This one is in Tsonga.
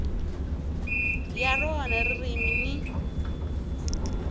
ya rona ririmi ni